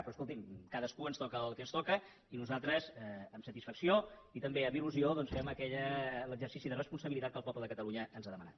però escolti’m a cadascú ens toca el que ens toca i nosaltres amb satisfacció i també amb ildoncs fem l’exercici de responsabilitat que el poble de catalunya ens ha demanat